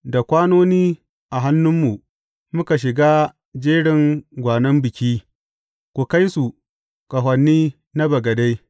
Da kwanoni a hannunmu, muka shiga jerin gwanon biki ku kai su ƙahoni na bagade.